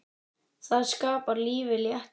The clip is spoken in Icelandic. Það skapar lífinu léttan tón.